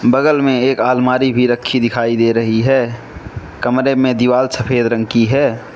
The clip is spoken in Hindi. बगल में एक आलमारी भी रखी दिखाई दे रही है कमरे में दीवार सफेद रंग की है।